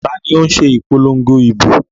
Ta ni ó ń ṣe ìpolongo ìbò?